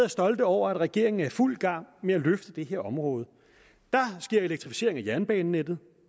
og stolte over at regeringen er i fuld gang med at løfte det her område der sker elektrificering af jernbanenettet